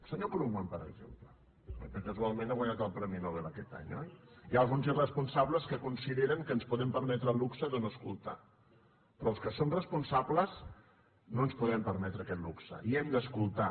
senyor krugman per exemple perquè casualment ha guanyat el premi nobel aquest any oi hi ha alguns irresponsables que consideren que ens po·dem permetre el luxe de no escoltar però els que som responsables no ens podem permetre aquest luxe i hem d’escoltar